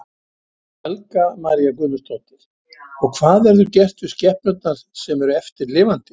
Helga María Guðmundsdóttir: Og hvað verður gert við skepnurnar sem eru eftir lifandi?